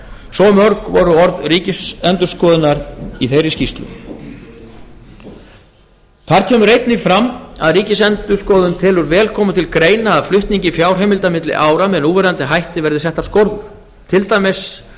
svo mörg voru orð ríkisendurskoðunar í þeirri skýrslu þar kemur einnig fram að ríkisendurskoðun telur vel koma til greina að flutningi fjárheimilda milli ára með núverandi hætti verði settar skorður til dæmis